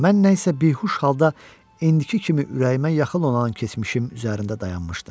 Mən nə isə bihuş halda indiki kimi ürəyimə yaxın olan keçmişim üzərində dayanmışdım.